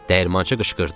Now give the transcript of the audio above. Dəyirmançı qışqırdı.